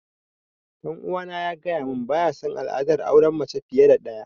Ɗan uwana ya gaya mun baya sun al'adar auren mace fiye da ɗaya